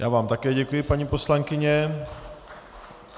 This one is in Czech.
Já vám také děkuji, paní poslankyně.